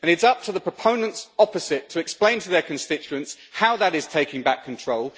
And it's up to the proponents opposite to explain to their constituents how that is taking back control.